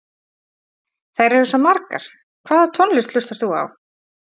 Þær eru svo margar Hvaða tónlist hlustar þú á?